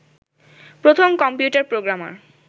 প্রথম computer programmer